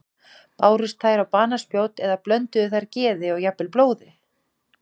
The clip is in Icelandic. Bárust þær á banaspjót eða blönduðu þær geði og jafnvel blóði?